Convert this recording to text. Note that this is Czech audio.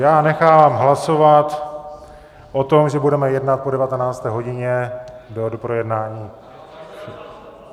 Já nechám hlasovat o tom, že budeme jednat po 19. hodině do projednání.